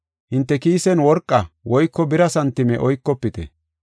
Hinte kiisen worqa, woyko bira santime oykofite.